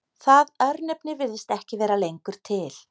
Það örnefni virðist ekki vera lengur til.